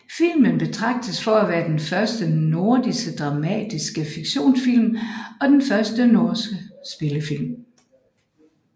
Filmen betragtes for at være den første norske dramatiske fiktionsfilm og den første norske spillefilm